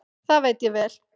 Það veit ég vel.